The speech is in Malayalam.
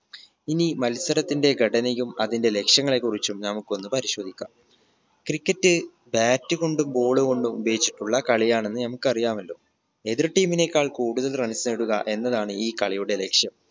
ഇനി മത്സരത്തിന്റെ ഘടനയും അതിന്റെ ലക്ഷ്യങ്ങളെ കുറിച്ചും നമുക്കൊന്ന് പരിശോധിക്കാം cricket bat കൊണ്ടും ball കൊണ്ടും ഉപയോഗിച്ചിട്ടുള്ള കളിയാണെന്ന് നമുക്കറിയാമല്ലോ എതിർ team നേക്കാൾ കൂടുതൽ runs നേടുക എന്നതാണ് ഈ കളിയുടെ ലക്ഷ്യം